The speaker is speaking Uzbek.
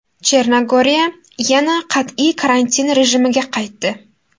Chernogoriya yana qat’iy karantin rejimiga qaytdi.